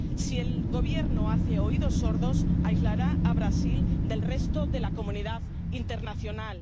Si el Gobierno hace oídos sordos, aislará a Brasil del resto de la comunidad internacional.